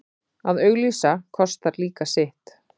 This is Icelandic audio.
Að auglýsa kostar líka sitt.